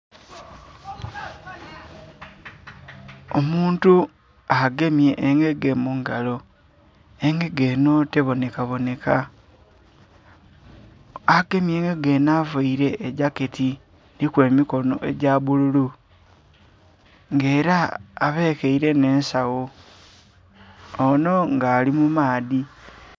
Omuntu agemye engege mungalo, engege eno tebonekaboneka agemye engege eno avaire ejaketi eriku emikono ejabbululu nga era abekeire n'ensawo ono nga ali mumaadhi.